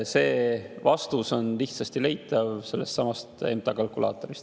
See vastus on lihtsasti leitav sellestsamast MTA kalkulaatorist.